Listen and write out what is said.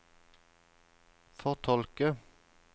fortolke